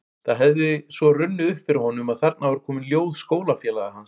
Það hefði svo runnið upp fyrir honum að þarna voru komin ljóð skólafélaga hans